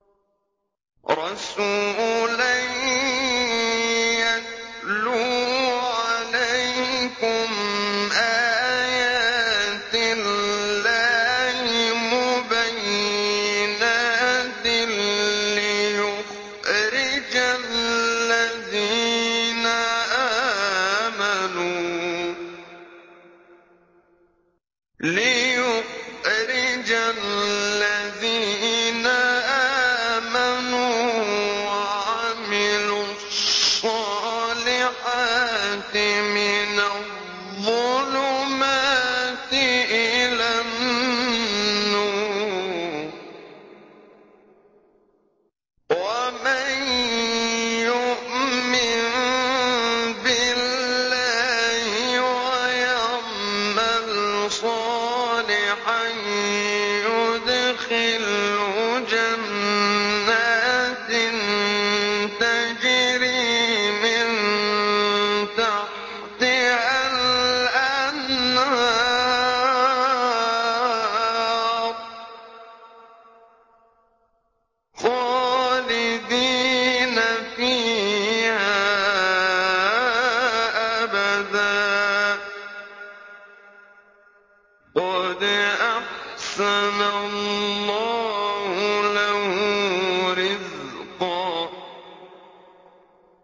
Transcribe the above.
رَّسُولًا يَتْلُو عَلَيْكُمْ آيَاتِ اللَّهِ مُبَيِّنَاتٍ لِّيُخْرِجَ الَّذِينَ آمَنُوا وَعَمِلُوا الصَّالِحَاتِ مِنَ الظُّلُمَاتِ إِلَى النُّورِ ۚ وَمَن يُؤْمِن بِاللَّهِ وَيَعْمَلْ صَالِحًا يُدْخِلْهُ جَنَّاتٍ تَجْرِي مِن تَحْتِهَا الْأَنْهَارُ خَالِدِينَ فِيهَا أَبَدًا ۖ قَدْ أَحْسَنَ اللَّهُ لَهُ رِزْقًا